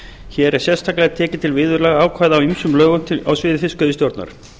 hér er sérstaklega tekið til viðurlagaákvæða á ýmsum lögum á sviði fiskveiðistjórnar